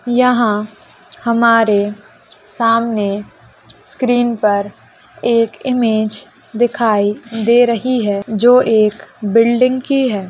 यहां हमारे सामने स्क्रीन पर एक इमेज दिखाई दे रही है जो एक बिल्डिंग की है।